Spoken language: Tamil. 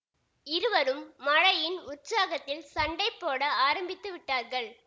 இருவரும் மழையின் உற்சாகத்தில் சண்டைபோட ஆரம்பித்து விட்டார்கள்